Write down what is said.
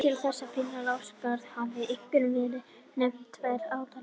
Til þess að finna lásagrasið hafa einkum verið nefndar tvær aðferðir.